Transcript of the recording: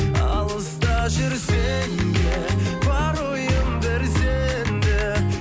алыста жүрсем де бар ойым бір сенде